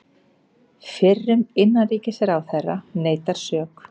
Fyrrum innanríkisráðherra neitar sök